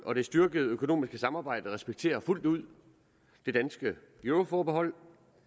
og det styrkede økonomiske samarbejde respekterer fuldt ud det danske euroforbehold